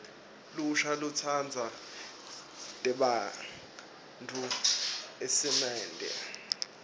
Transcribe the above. lusha lutsandza tembatfo eesimante